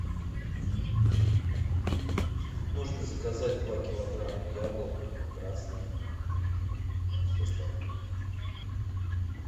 нужно заказать два килограмма яблок красных с доставкой